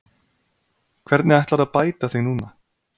Hvernig ætlarðu að bæta þig núna?